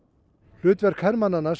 hlutverk hermannanna sem